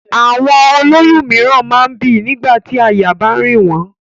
Àwọn ó lóyún mìíràn máa ń bì nígbà tí àyà bá ń rìn wọ́n.